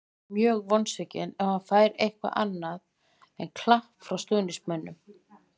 Ég verð mjög vonsvikinn ef hann fær eitthvað annað en klapp frá stuðningsmönnum.